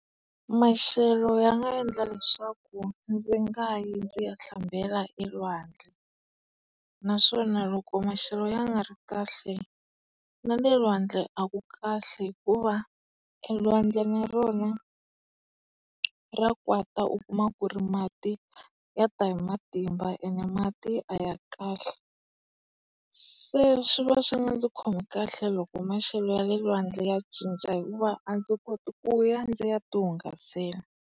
Maxelo ya nga endla leswaku ndzi nga yi ndzi ya hlambela elwandle. Naswona loko maxelo ya nga ri kahle, na le lwandle a ku kahle hikuva e lwandle na rona ra kwata u kuma ku ri mati ya ta hi matimba ene mati a ya kahle. Se swi va swi nga ndzi khomi kahle loko maxelo ya le lwandle ya cinca hikuva a ndzi koti ku ya ndzi ya ti hungasela.